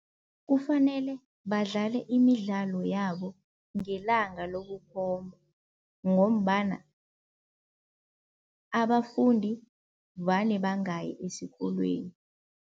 Kufanele badlale imidlalo yabo ngelanga lokukhomba ngombana abafundi vane bangayi esikolweni.